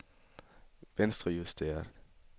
venstrejusteret